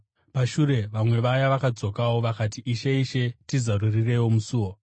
“Pashure vamwe vaya vakadzokawo. Vakati, ‘Ishe! Ishe! Tizarurireiwo musuo!’